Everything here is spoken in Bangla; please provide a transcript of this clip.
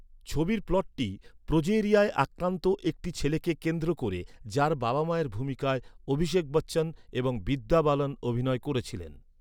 ছবির প্লটটি প্রোজেরিয়ায় আক্রান্ত একটি ছেলেকে কেন্দ্র করে, যার বাবা মায়ের ভূমিকায় অভিষেক বচ্চন এবং বিদ্যা বালান অভিনয় করেছিলেন।